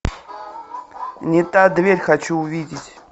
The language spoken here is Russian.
не та дверь хочу увидеть